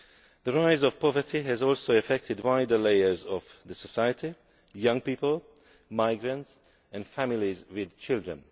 The rise of poverty has also affected wider layers of society young people, migrants and families with children.